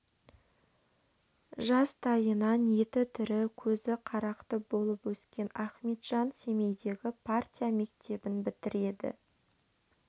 жастайынан еті тірі көзі қарақты болып өскен ахметжан семейдегі партия мектебін бітіреді